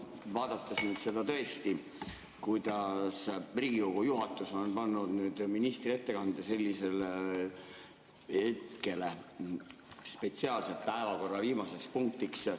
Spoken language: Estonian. Kui vaadata seda tõesti, kuidas Riigikogu juhatus on pannud ministri ettekande sellisele hetkele, spetsiaalselt päevakorra viimaseks punktiks ...